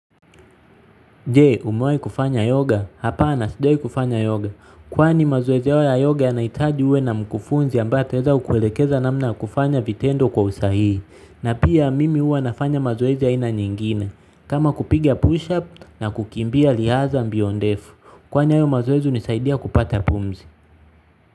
Je umewahi kufanya yoga hapana sijawai kufanya yoga. Kwani mazoezi hayo ya yoga yanaitaji uwe na mkufunzi ambaye ataweza kukuelekeza namna kufanya vitendo kwa usahihi. Na pia mimi huwa nafanya mazoezi aina nyingine. Kama kupiga push up na kukimbia riadha mbio ndefu. Kwani hayo mazoezi hunisaidia kupata pumzi.